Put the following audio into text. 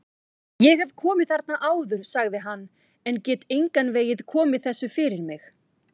Ég hef komið þarna áður sagði hann, en get engan veginn komið þessu fyrir mig